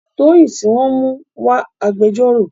Toyin tí wọ́n mú ń wá agbẹjọ́rò.